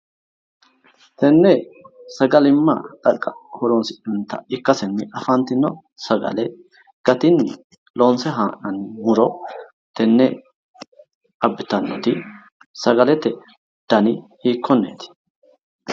Tenne sagalimma xaqa'minanni horonsi'nannita ikasenni afantino sagale gatinni loonse haa'nanni muro tenne abbitannoti sagalete dani hiikonneeti?